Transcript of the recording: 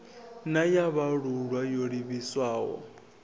na ya vhaalulwa yo livhiswaho